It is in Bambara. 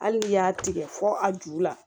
Hali n'i y'a tigɛ fɔ a ju la